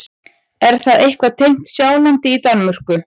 Er það eitthvað tengt Sjálandi í Danmörku?